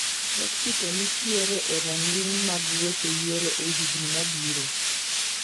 Mexico ni tiere e ranginy mag weche yiero ehigni mabiro